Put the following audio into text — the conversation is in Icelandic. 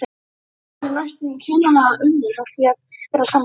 Þau höfðu næstum kjánalega unun af því að vera saman.